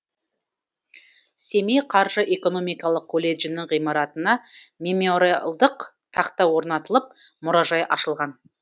семей қаржы экономикалық колледжінің ғимаратына мемориалдық тақта орнатылып мұражай ашылған